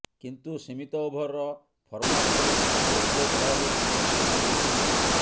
କିନ୍ତୁ ସୀମିତ ଓଭର ଫର୍ମାଟରେ ଲୋକେଶ ରାହୁଲ ତାଙ୍କ ସ୍ଥାନ ନେଇଛନ୍ତି